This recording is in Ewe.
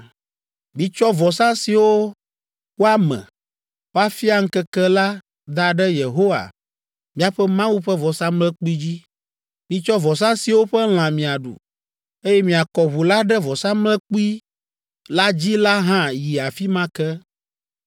Mitsɔ vɔsa siwo woame, woafia keŋkeŋ la da ɖe Yehowa miaƒe Mawu ƒe vɔsamlekpui dzi. Mitsɔ vɔsa siwo ƒe lã miaɖu, eye miakɔ ʋu la ɖe vɔsamlekpui la dzi la hã yi afi ma ke.